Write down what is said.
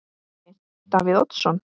Breki: Davíð Oddsson?